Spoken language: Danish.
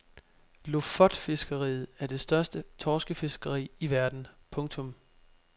Lofotfiskeriet er det største torskefiskeri i verden. punktum